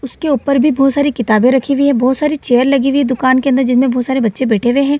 उसके ऊपर भी बहुत सारी किताबें रखी हुई है बहुत सारी सारी चेयर लगी हुई है दुकान के अंदर जिनमे बहुत सारे बच्चें बैठे हुएं हैं |